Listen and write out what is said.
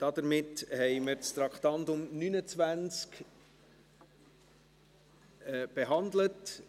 Damit haben wir das Traktandum 29 behandelt.